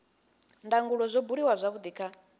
ndangulo zwo buliwa zwavhudi kha